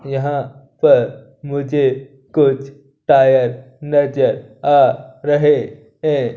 यहां पर मुझे कुछ टायर नजर आ रहे हैं।